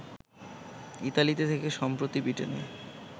ইতালিতে থেকে সম্প্রতি ব্রিটেনে